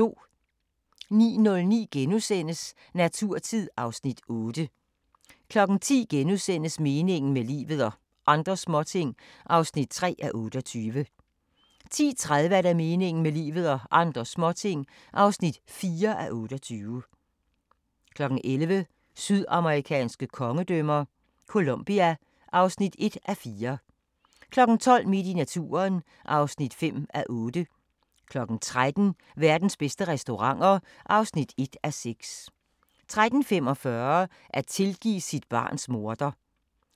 09:00: Naturtid (Afs. 8)* 10:00: Meningen med livet – og andre småting (3:28)* 10:30: Meningen med livet – og andre småting (4:28) 11:00: Sydamerikanske kongedømmer - Colombia (1:4) 12:00: Midt i naturen (5:8) 13:00: Verdens bedste restauranter (1:6) 13:45: At tilgive sit barns morder